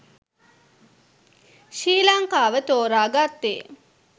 ශ්‍රී ලංකාව තෝරා ගත්තේ